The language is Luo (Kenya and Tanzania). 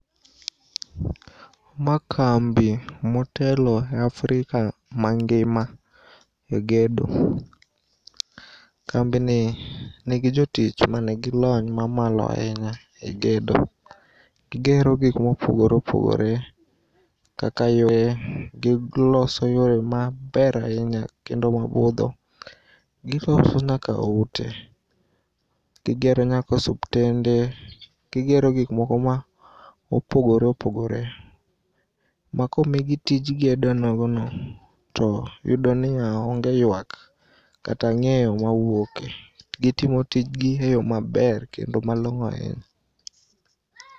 Ma kambi motelo e Afrika mangima e gedo. Kambini nigi jotich manigi lony mamalo ainya e gedo. Gigero gik mopogore opogore kaka yoo, giloso yore maber ainya kendo mabudho. Giloso nyaka ute. Gigero nyaka osuptende, gigero gikmoko ma opogore opogore ma komigi tij gedo nogono to iyudo niya onge yuak kata ang'eyo mawuoke. Gitimo tijgi e yoo maber kendo malong'o ainya.